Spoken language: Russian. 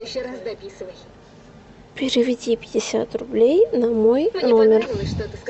переведи пятьдесят рублей на мой номер